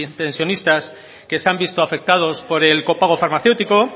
pensionistas que se han visto afectados por el copago farmacéutico